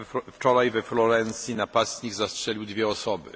Wczoraj we Florencji napastnik zastrzelił dwie osoby.